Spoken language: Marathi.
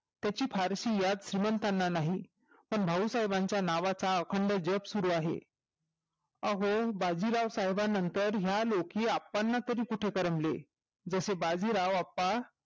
त्याची फारसी याद श्रीमंतांना नाही पण भाऊ साहेबाचा अखंड जप सुरु आहे अहो बाजीराव साहेबानंतर ह्या लेखी अप्पांना तरी कुठे करमले जसे बाजीराव अप्पा